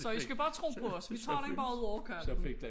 Så I skal bare tro på os vi tager den bare ud over kanten